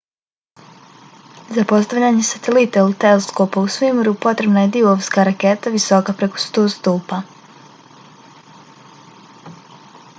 za postavljanje satelita ili teleskopa u svemiru potrebna je divovska raketa visoka preko 100 stopa